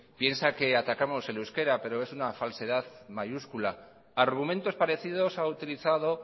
piensa que atacamos el euskera pero es una falsedad mayúscula argumentos parecidos ha utilizado